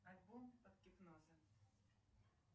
альбом под гипнозом